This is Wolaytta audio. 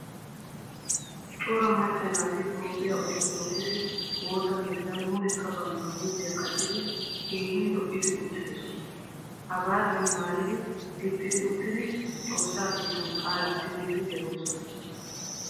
Cora macca naati Toophphiyaa orttodokise woosaa keettan mulekka bantta huuphphiyaa qaccidi keehin lo'idi uttidosona. Hagaadan maayidi, gixidi, uttidi xoossaa keettan qaalaa siyidi de'ossona.